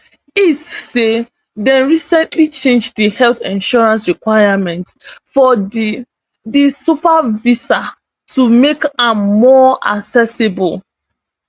ircc say dem recently change di health insurance requirement for di di super visa to make am more accessible